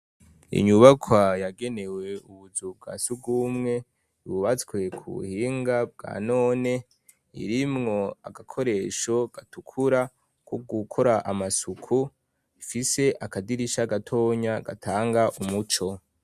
Inyubaka yagenewe ubuzu bwa sugumwe ibubatswe ku buhinga bwa none irimwo agakoresho gatukura ko gukora amasuku fise akadirisha gatonya gatanga umuco.